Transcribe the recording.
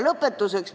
Lõpetuseks.